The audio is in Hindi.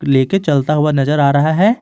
ले के चलता हुआ नजर आ रहा है।